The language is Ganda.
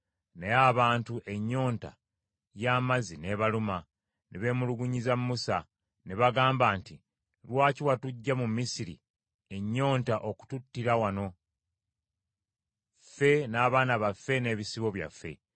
Naye abantu ennyonta y’amazzi n’ebaluma, ne beemulugunyiza Musa. Ne bagamba nti, “Lwaki watuggya mu Misiri, ennyonta okututtira wano, ffe n’abaana baffe n’ebisibo byaffe?”